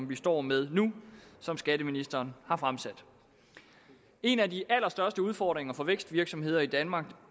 vi står med nu som skatteministeren har fremsat en af de allerstørste udfordringer for vækstvirksomheder i danmark